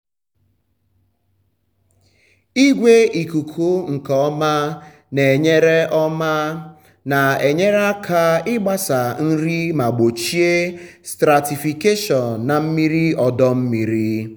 igwe ikuku nke ọma na-enyere ọma na-enyere aka ịgbasa nri ma gbochie stratification na mmiri ọdọ mmiri.